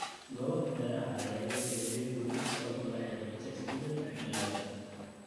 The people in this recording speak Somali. Goobaha beeraha ayaa loo beddelay guryo sabab la xiriirta isbeddelka cimilada.